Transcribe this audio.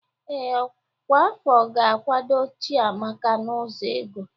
Ee, ọkwa afọ ga-akwado Chiamaka n'ụzọ ego.